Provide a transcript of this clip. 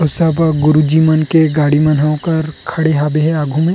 सब गुरु जी मन के गाड़ी मन ह ओकर खड़े हे आगू में --